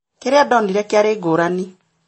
Kĩrĩa ndonire kĩarĩ ngũrani